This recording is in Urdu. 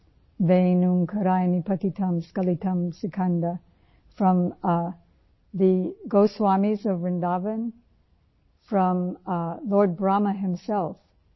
وین اومکارایا پتیتم اسکیلاٹم سکند वें ओंकाराय पतितं स्क्लितं सिकंद, فروم ٹھے goswami'س of Vrindavan, from the lord Brahma himself